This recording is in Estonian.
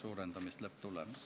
Aitäh!